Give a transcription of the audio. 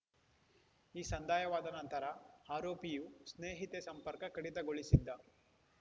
ಈ ಸಂದಾಯವಾದ ನಂತರ ಆರೋಪಿಯು ಸ್ನೇಹಿತೆ ಸಂಪರ್ಕ ಕಡಿತಗೊಳಿಸಿದ್ದ